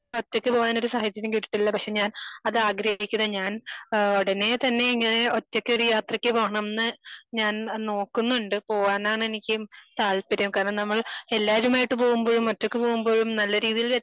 ഒറ്റക്ക് പോവാൻ ഒരു സാഹചര്യം കിട്ടിയിട്ടില്ല. പക്ഷെ ഞാൻ അതാഗ്രഹിക്കുന്ന ഞാൻ ഏഹ് ഉടനെ തന്നെ ഇങ്ങനെ ഒറ്റക്കൊരു യാത്രക്ക് പോണം ന്ന് ഞാൻ നോക്കുന്നുണ്ട് പോകാനെനിക്ക് താല്പര്യം കാരണം നമ്മൾ എല്ലാരുമായിട്ട് പോകുമ്പോഴും ഒറ്റക്ക് പോകുമ്പോഴും നല്ല രീതിയിൽ